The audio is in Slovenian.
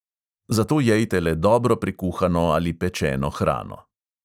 Zato jejte le dobro prekuhano ali pečeno hrano.